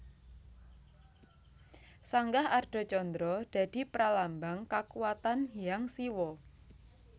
Sanggah Ardha Candra dadi pralambang kakuwatan Hyang Siwa